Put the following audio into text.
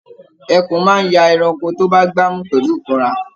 Ẹkùn máa n ya ẹranko tó bá gbà mú pẹlu ikanra.